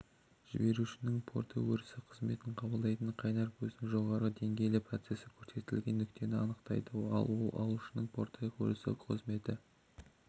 жіберушінің порты өрісі қызметін қабылдайтын қайнар көздің жоғарғы деңгейлі процесі көрсетілген нүктені анықтайды ал алушының порты өрісі қызметі